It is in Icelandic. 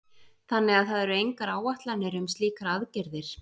Þannig að það eru engar áætlanir um slíkar aðgerðir?